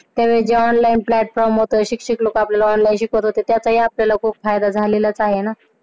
तर ज्या online class मुले शिक्षक लोक आपल्याला online शिकवत होते त्याचा आपल्याला खूप फायदा झालेलाच आहे ना.